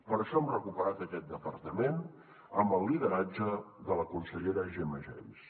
per això hem recuperat aquest departament amb el lideratge de la consellera gemma geis